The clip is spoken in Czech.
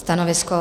Stanovisko?